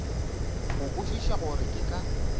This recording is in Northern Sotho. go kwešiša gore ke ka